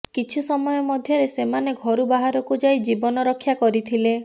କିଛି ସମୟ ମଧ୍ୟରେ ସେମାନେ ଘରୁ ବାହାରକୁ ଯାଇ ଜୀବନ ରକ୍ଷା କରିଥିଲେ